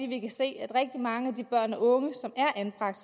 vi kan se at rigtig mange af de børn og unge som er anbragt